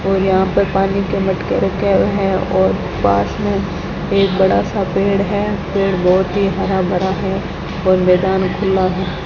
और यहां पर पानी के मटके रखे हुए हैं और पास में एक बड़ा सा पेड़ है पेड़ बहुत ही हर भरा है और मैदान खुला है।